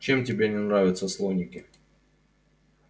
чем тебе не нравятся слоники